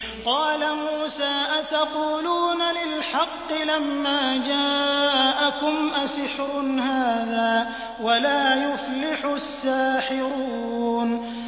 قَالَ مُوسَىٰ أَتَقُولُونَ لِلْحَقِّ لَمَّا جَاءَكُمْ ۖ أَسِحْرٌ هَٰذَا وَلَا يُفْلِحُ السَّاحِرُونَ